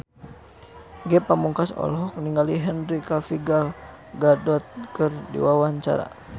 Ge Pamungkas olohok ningali Henry Cavill Gal Gadot keur diwawancara